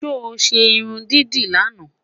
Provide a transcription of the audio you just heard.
sọ ṣé irún dídì laana?